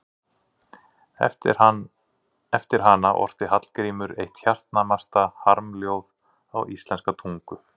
Eftir hana orti Hallgrímur eitt hjartnæmast harmljóð á íslenska tungu.